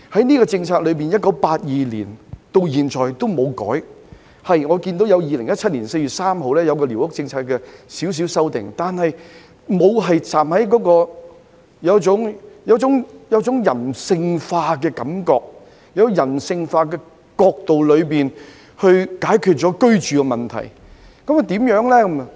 寮屋政策自1982年至今從無作出改變，只曾在2017年4月3日進行少許修訂，但予人的感覺卻是沒有從人性化的角度解決居住問題。